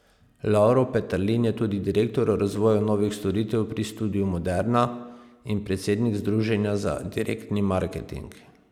Lovro Peterlin je tudi direktor razvoja novih storitev pri Studiu Moderna in predsednik Združenja za direktni marketing.